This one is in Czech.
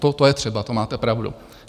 To je třeba, to máte pravdu.